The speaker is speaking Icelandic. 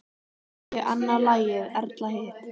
Ég annað lagið, Erla hitt!